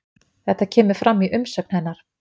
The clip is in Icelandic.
Þetta kemur fram í umsögn hennar